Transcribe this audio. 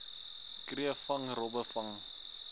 kreefvang robbe vang